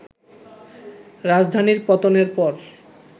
রাজধানীর পতনের পর